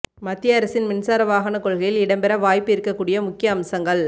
மத்திய அரசின் மின்சார வாகன கொள்கையில் இடம்பெற வாய்ப்பு இருக்கக்கூடிய முக்கிய அம்சங்கள்